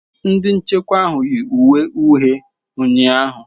Ndị nchekwa ahụ yi uwe uhie ụnyahụ.